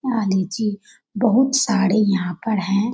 यहाँ लीची बहुत सारे यहाँ पर हैं ।